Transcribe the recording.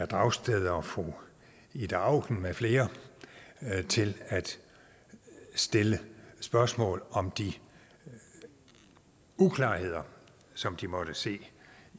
dragsted og fru ida auken med flere til at stille spørgsmål om de uklarheder som de måtte se